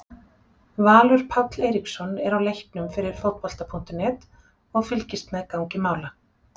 Valur Páll Eiríksson er á leiknum fyrir Fótbolta.net og fylgist með gangi mála.